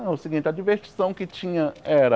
É o seguinte, a divertição que tinha era...